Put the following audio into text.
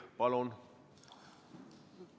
Palun!